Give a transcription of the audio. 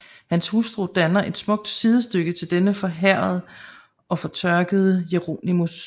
Hans Hustru danner et smukt Sidestykke til denne forhærdede og fortørkede Jeronimus